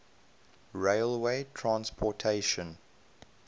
railway transportation